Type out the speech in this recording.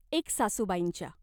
एक सासूबाईंच्या.